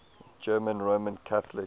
german roman catholics